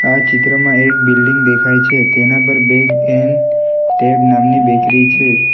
આ ચિત્રમાં એક બિલ્ડીંગ દેખાય છે તેના પર બેક એન ટેબ નામની બેકરી છે.